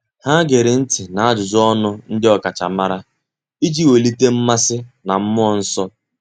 Há gèrè ntị́ n’ájụ́jụ́ ọnụ ndị ọ́kàchàmàrà iji wèlíté mmasị na mmụọ́ nsọ́.